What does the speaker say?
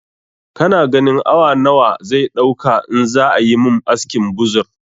Kana ganin awa nawa zai ɗauka in za ayi mun askin buzur